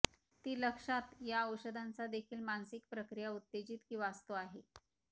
ती लक्षात या औषधांचा देखील मानसिक प्रक्रिया उत्तेजित की वाचतो आहे